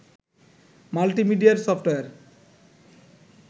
multimedia software